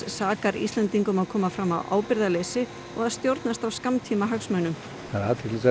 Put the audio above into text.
sakar Íslendingar um að koma fram af ábyrgðarleysi og stjórnast af skammtímahagsmunum það er athyglisvert